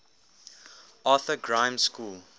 arthur grimes school